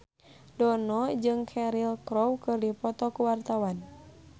Dono jeung Cheryl Crow keur dipoto ku wartawan